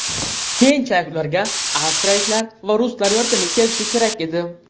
Keyinchalik ularga avstriyaliklar va ruslar yordamga kelishi kerak edi.